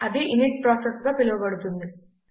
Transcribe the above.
అది ఇనిట్ ప్రాసెస్గా పిలువబడుతుంది